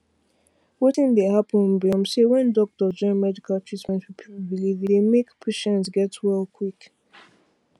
wetin dey happen be um say when doctors join medical tretment with people belief e dey make patients get well quick